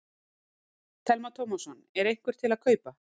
Telma Tómasson: Er einhver til að kaupa?